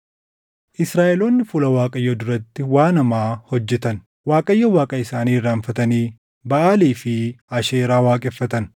Israaʼeloonni fuula Waaqayyoo duratti waan hamaa hojjetan; Waaqayyo Waaqa isaanii irraanfatanii Baʼaalii fi Asheeraa waaqeffatan.